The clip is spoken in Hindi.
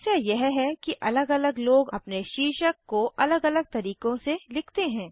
समस्या यह है कि अलग अलग लोग अपने शीर्षक को अलग अलग तरीकों से लिखते हैं